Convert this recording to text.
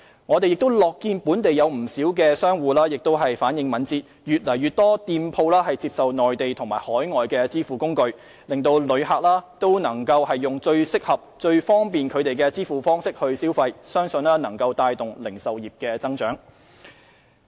我們亦樂見本地不少商戶也反應敏捷，越來越多店鋪接受內地和海外支付工具，讓旅客以最適合、最方便他們的支付方式消費，相信能帶動零售業增長。